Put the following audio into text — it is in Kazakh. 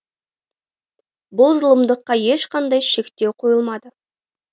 бұл зұлымдыққа ешқандай шектеу қойылмады